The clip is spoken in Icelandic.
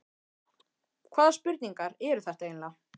Hvaða spurningar eru þetta eiginlega?